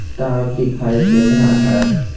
तार दिखाई दे रहा है।